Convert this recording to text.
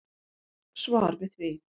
Svar við því.